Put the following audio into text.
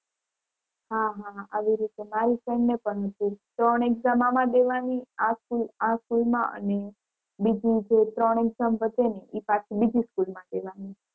હા હા હા આવી રીતે મારી friend ને પણ હતું. ત્રણ exam આમાં દેવાની આ school આ school માં અને બીજી જે ત્રણ exam વધે ને એ પછી બીજી school માં દેવાની.